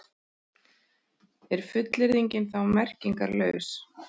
Er fullyrðingin þá merkingarlaus?